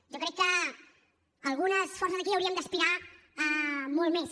jo crec que algunes forces aquí hauríem d’aspirar a molt més